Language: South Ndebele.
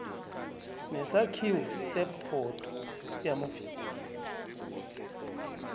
nesakhiwo sebhodo yamafilimu